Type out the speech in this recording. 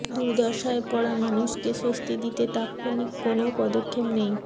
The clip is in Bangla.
দুর্দশায় পড়া মানুষকে স্বস্তি দিতে তাৎক্ষণিক কোনও পদক্ষেপ নেই